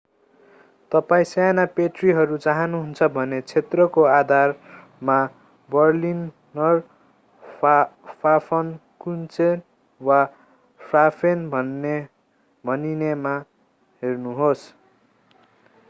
तपाईं साना प्याट्रीहरू चाहानुहुन्छ भने क्षेत्रको आधारमा बर्लिनर फाफनकुचेन वा क्राफेन भनिनेमा हेर्नुहोस्‌।